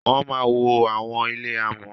Wọ má wọ àwọn ilé amò.